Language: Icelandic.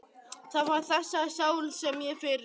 Það var þessari sál sem ég fyrirgaf.